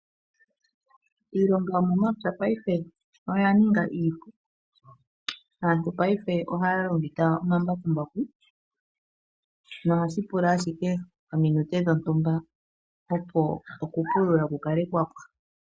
Iilonga yomomapya paife oya ninga iipu. Aantu paife ohaya longitha omambakumbaku nohashi pula ashike ominute dhontumba opo okupulula ku kale kwapwa.